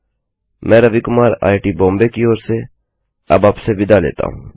मैं रवि कुमार आईआईटीबॉम्बे की ओर से अब आपसे विदा लेता हूँ